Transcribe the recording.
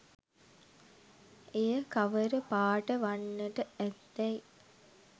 එය කවර පාට වන්නට ඇත්දැයි